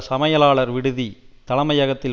சமையலாளர் விடுதி தலைமையகத்தில்